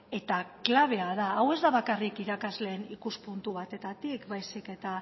eta klabea da hau ez da bakarrik irakasleen ikuspuntu batetik baizik eta